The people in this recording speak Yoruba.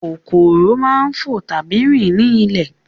Kòkòrò máa ń fo tàbí rin ní ilẹ̀